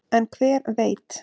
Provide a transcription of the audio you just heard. en hver veit